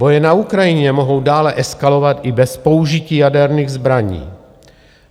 Boje na Ukrajině mohou dále eskalovat i bez použití jaderných zbraní.